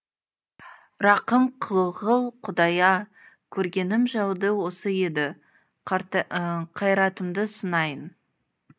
рақым қылғыл құдай а көргенім жауды осы еді қайратымды сынайын